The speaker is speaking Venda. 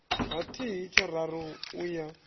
ha thihi tshararu u ya